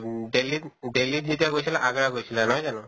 উম দিল্লীত দিল্লীত যেতিয়া গৈছিলে আগ্ৰা গৈছিলা নহয় জানো?